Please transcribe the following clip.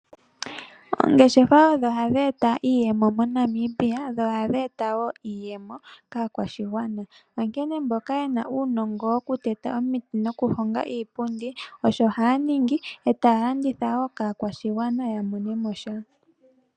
Oongeshefa odho hadhi eta iiyemo moNamibia, dho ohadhi eta wo iiyemo kaakwashigwana. Onkene mboka ye na uunongo wokuteta omiti nokuhonga iipundi osho haya ninga, e taya landitha wo kaakwashigwana ya mone mo sha.